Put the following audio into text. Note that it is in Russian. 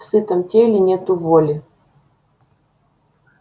в сытом теле нету воли